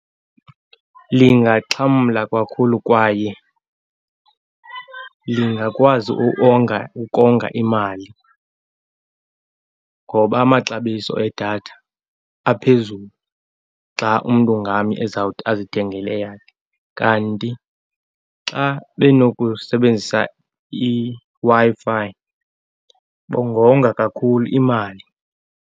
Lingaxhamla kakhulu kwaye lingakwazi ukonga imali ngoba amaxabiso edatha aphezulu xa umntu ngamnye ezawuthi azithengele eyakhe. Kanti xa benokusebenzisa iWi-Fi, bangonga kakhulu imali.